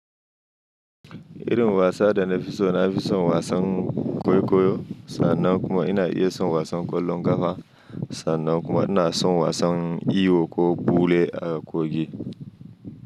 Irin wasa da na fi so, na fi son wasan kwaikwayo sannan kuma ina iya son wasan ƙwallon ƙafa sannan kuma ina son wasan iyo ko ɓule a kogin.